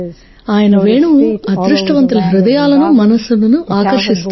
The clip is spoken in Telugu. ఆయన వేణువు అదృష్టవంతుల హృదయాలను మనస్సులను ఆకర్షిస్తుంది